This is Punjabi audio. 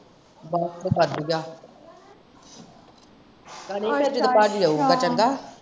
ਬੱਸ ਵੜਿਆ। ਕਹਿੰਦਾ।